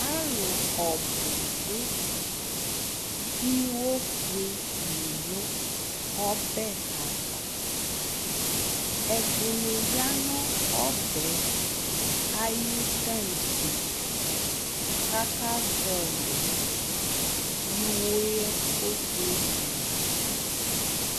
alʊ ɔbʊ dʊ ɩwo fʊe ɔbɛ dɩ aʋa ɛdɩnɩ ya nʊ ɔbɛ ayʊ tatse kʊ aka zɔlɩ ɩẇoe ko kpletʊ na fa